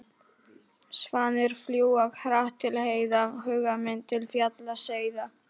Svanir fljúga hratt til heiða, huga minn til fjalla seiða.